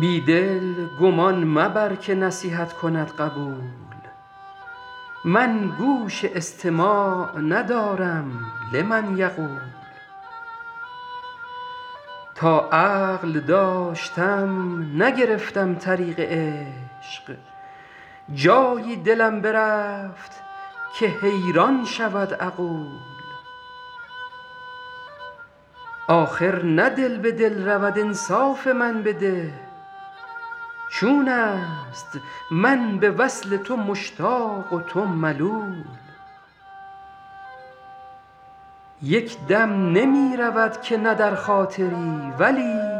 بی دل گمان مبر که نصیحت کند قبول من گوش استماع ندارم لمن یقول تا عقل داشتم نگرفتم طریق عشق جایی دلم برفت که حیران شود عقول آخر نه دل به دل رود انصاف من بده چون است من به وصل تو مشتاق و تو ملول یک دم نمی رود که نه در خاطری ولیک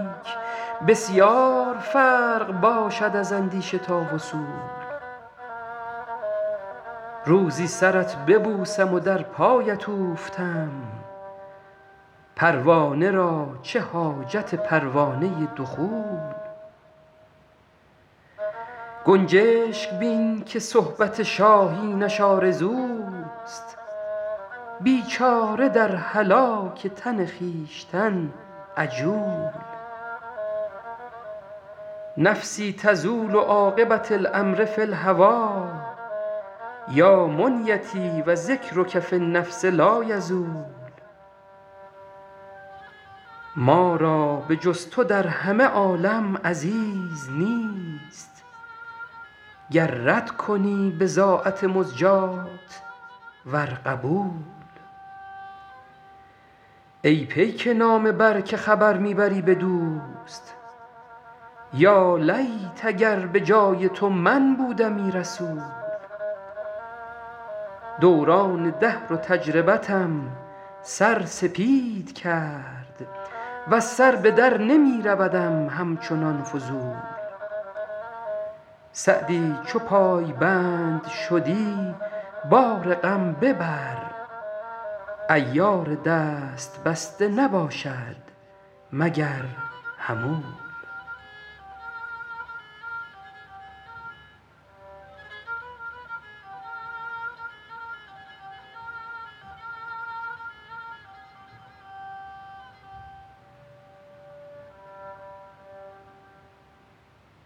بسیار فرق باشد از اندیشه تا وصول روزی سرت ببوسم و در پایت اوفتم پروانه را چه حاجت پروانه دخول گنجشک بین که صحبت شاهینش آرزوست بیچاره در هلاک تن خویشتن عجول نفسی تزول عاقبة الأمر فی الهوی یا منیتی و ذکرک فی النفس لایزول ما را به جز تو در همه عالم عزیز نیست گر رد کنی بضاعت مزجاة ور قبول ای پیک نامه بر که خبر می بری به دوست یالیت اگر به جای تو من بودمی رسول دوران دهر و تجربتم سر سپید کرد وز سر به در نمی رودم همچنان فضول سعدی چو پایبند شدی بار غم ببر عیار دست بسته نباشد مگر حمول